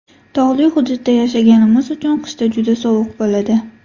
Tog‘li hududda yashaganimiz uchun qishda juda sovuq bo‘ladi.